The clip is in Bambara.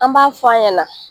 An b'an f'an ɲɛna.